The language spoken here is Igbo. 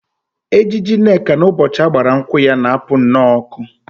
Ejiji Nneka n'ụbọchị a gbara nkwụ ya na-apụ nnọọ ọkụ